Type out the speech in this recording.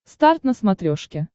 старт на смотрешке